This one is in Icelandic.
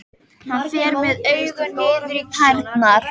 Hann fer með augun niður í tærnar.